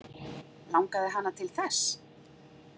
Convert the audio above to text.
Langaði hana til þess?